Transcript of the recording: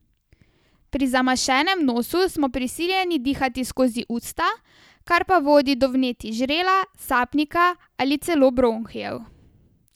Pri zamašenem nosu smo prisiljeni dihati skozi usta, kar pa vodi do vnetij žrela, sapnika ali celo bronhijev.